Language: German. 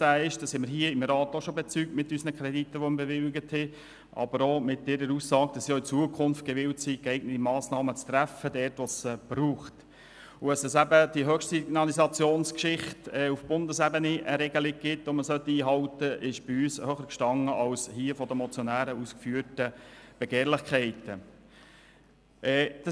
Da die Regierung auch zukünftig bereit ist, geeignete Massnahmen für den Lärmschutz zu treffen und da wir der Meinung sind, dass man die bestehende Regelung auf Bundesebene einhalten sollte, standen bei uns die Argumente der Regierung höher als die Begehrlichkeiten der Motionäre.